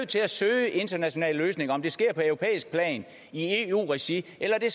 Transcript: til at søge internationale løsninger om det sker på europæisk plan i eu regi eller det